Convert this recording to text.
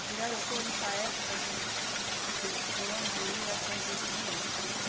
O pirarucu, nessa época, que tinha de, por onde ia sempre tinha.